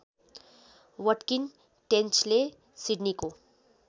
Watkin टेन्चले सिडनीको